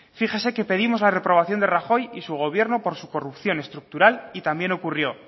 fíjese que pedimos la reprobación de rajoy y su gobierno por su corrupción estructural y también ocurrió